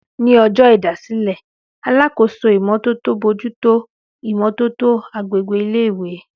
Ní ọjọ́ ìdásílẹ̀, alákòóso ìmó tótó bójú tó ìmò tótó agbègbè ilé ìwé